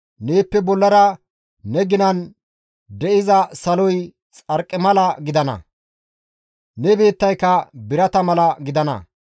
Neeppe bollara ne ginan de7iza saloy xarqimala gidana; ne biittayka birata mala gidana.